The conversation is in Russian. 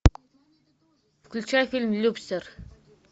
включай фильм любстер